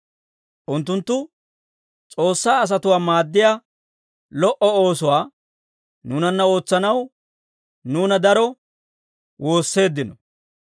Unttunttu S'oossaa asatuwaa maaddiyaa lo"o oosuwaa nuunanna ootsanaw nuuna daro woosseeddino.